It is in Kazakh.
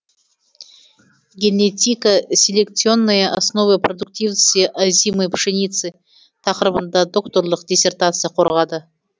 генетико селекционные основы продуктивности озимой пшеницы тақырыбында докторлық диссертация қорғады